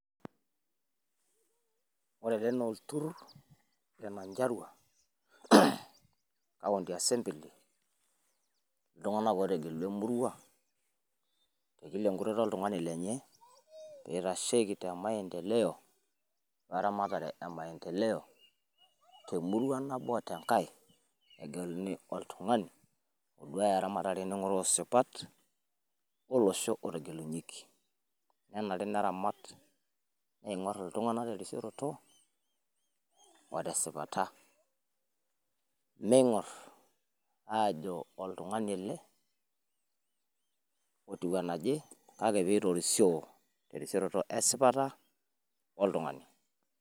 Ore ele naa olturrur le Nyandarua, county assebly, iltung'anak ootegelua emurua tekila enkutoto oltung'ani lenye, peitasheiki temaendeleo oramatare emaendeleo, temurua nabo otenkae, egeluni oltung'ani odua ramatare neng'oroo sipat olosho otegelunyeki. Nenare neramat neingo'rr iltung'anak terisioroto otesipata. Meing'orr aajo oltung'ani ele otiu enaje kake peitorisio terisioroto esipata oltung'ani.